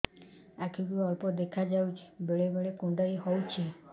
ଆଖି କୁ ଅଳ୍ପ ଦେଖା ଯାଉଛି ବେଳେ ବେଳେ କୁଣ୍ଡାଇ ହଉଛି